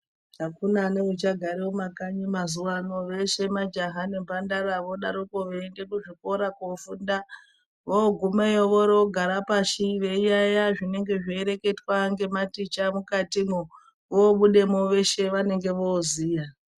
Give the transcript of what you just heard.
Akuna neuchagara mumakanyi mazuwano veshe majaha nemhandara vodaroko veienda kuzvikora kofunda . Vogumeyo voro gara pasi veiyaiya zvinenge zveireketwa ngematicha mukati mwoo vobudemo veshe vanenge voziya.